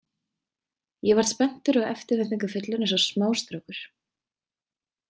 Ég varð spenntur og eftirvæningafullur eins og smástrákur.